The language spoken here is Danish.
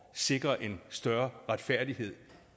sikre en større retfærdighed